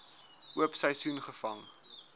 oop seisoen gevang